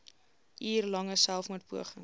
uur lange selfmoordpoging